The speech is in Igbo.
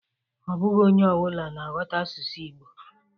Ọ bụghọ onye ọbụna na-aghọta asụsụ Ịgbo